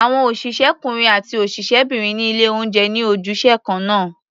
Àwọn òṣìṣẹ́kúnrin àti òṣìṣẹ́bìnrin ní ilé-oúnjẹ ní ojúṣe kan náà.